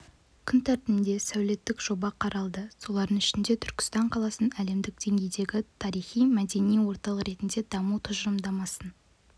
күн тәртібінде сәулеттік жоба қаралды солардың ішінде түркістан қаласын әлемдік деңгейдегі тарихи-мәдени орталық ретінде даму тұжырымдамасын